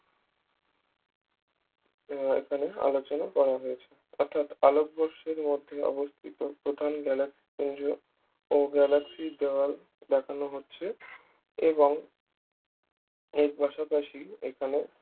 আহ এখানে আলোচনা করা হয়েছে অর্থাৎ আলোকবর্ষের মধ্যে অবস্থিত প্রধান galaxy পুঞ্জ ও galaxy দেওয়াল দেখানো হচ্ছে এবং এর পাশাপাশি এখানে